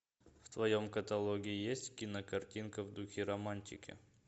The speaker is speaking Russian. в твоем каталоге есть кинокартинка в духе романтики